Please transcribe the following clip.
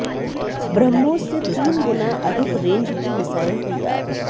ब्रह्मोस से तीन गुना अधिक रेंज की मिसाइल तैयार